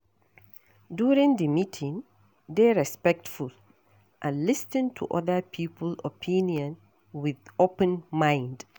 During di meeting, dey respectful and lis ten to oda people opinion with open mind